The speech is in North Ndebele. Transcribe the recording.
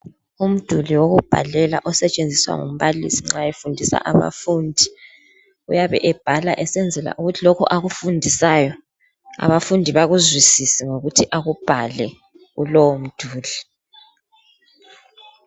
Umduli wokubhalela osetshenziswa ngumbalisi nxa befundisa abafundi. Uyabe ebhala esenzela ukuthi lokhu akufundisayo abafundi bakuzwisise ngokuthi akubhale kulowomduli.